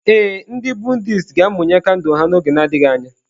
Ee, ndị Buddhist ga-amụnye kandụl ha n'oge na-adịghị anya.